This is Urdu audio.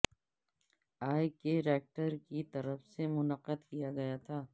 اے کے ریکٹر کی طرف سے منعقد کیا گیا تھا